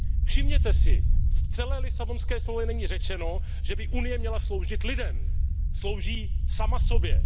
Všimněte si, v celé Lisabonské smlouvě není řečeno, že by Unie měla sloužit lidem, slouží sama sobě.